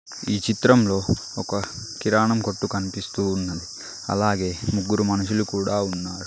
ఈ చిత్రంలో ఒక కిరాణం కొట్టు కనిపిస్తూ ఉన్నది అలాగే ముగ్గురు మనుషులు కూడా ఉన్నారు.